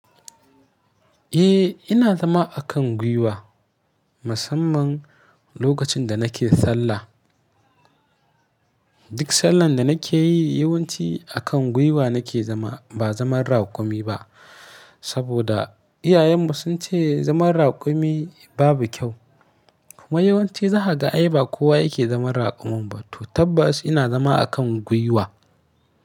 Eh ina zama a kan gwuiwa, musamman lokacin da nake sallah. Duk sallar da nake yi yawanci a kan guiwa nake zama ba zaman raƙumi ba. Saboda iyayenmu sun ce zaman raƙumi babu kyau. Kuma yawanci zaha ga aiba kowa yake zaman raƙumi, to tabbas ina zama a kan guiwa.